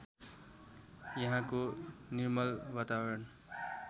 यहाँको निर्मल वातावरण